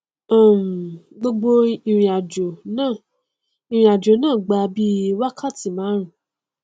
um gbogbo ìrìnàjò náà ìrìnàjò náà gba bíi wákàtí márùn-ún